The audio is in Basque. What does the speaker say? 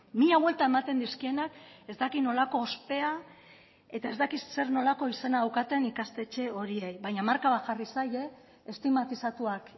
mila buelta ematen dizkienak ez dakit nolako ospea eta ez dakit zer nolako izena daukaten ikastetxe horiei baina marka bat jarri zaie estigmatizatuak